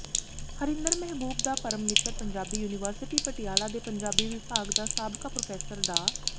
ਹਰਿੰਦਰ ਮਹਿਬੂਬ ਦਾ ਪਰਮਮਿੱਤਰ ਪੰਜਾਬੀ ਯੂਨੀਵਰਸਿਟੀ ਪਟਿਆਲਾ ਦੇ ਪੰਜਾਬੀ ਵਿਭਾਗ ਦਾ ਸਾਬਕਾ ਪ੍ਰੋਫੈਸਰ ਡਾ